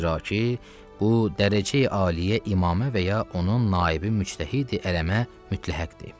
Zira ki, bu dərəcəyi aliyə imammə və ya onun naibi müctəhidi ələmə mütləhəqdir.